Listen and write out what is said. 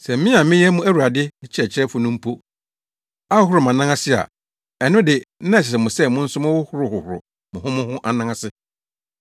Sɛ me a meyɛ mo Awurade ne Kyerɛkyerɛfo no mpo ahohoro mʼanan ase a ɛno de, na ɛsɛ sɛ mo nso mohohoro hohoro mo ho mo ho anan ase.